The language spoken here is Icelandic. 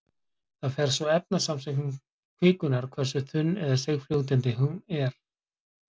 Það fer svo eftir efnasamsetningu kvikunnar hversu þunn- eða seigfljótandi hún er.